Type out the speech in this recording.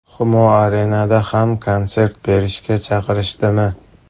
Humo Arena’da ham konsert berishga chaqirishdimi?